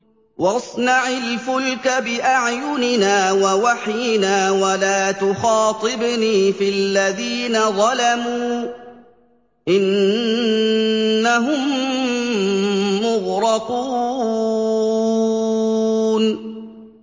وَاصْنَعِ الْفُلْكَ بِأَعْيُنِنَا وَوَحْيِنَا وَلَا تُخَاطِبْنِي فِي الَّذِينَ ظَلَمُوا ۚ إِنَّهُم مُّغْرَقُونَ